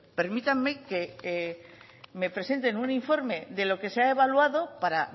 permítame que me presenten un informe de lo que se ha evaluado para